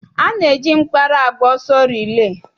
A na-eji mkpara agba ọsọ rilee.